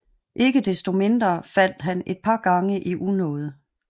Ikke desto mindre faldt han et par gange i unåde